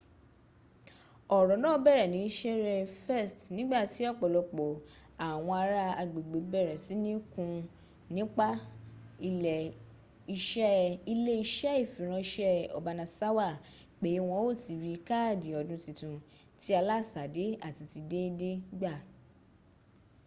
oro naa bere ni sere 1st nigbati opolopo awon ara agbegbe bere sini kun nipa ile ise ifiranse obanasawa pe won o tii ri kaadi odun titun ti alasade ati ti deede gba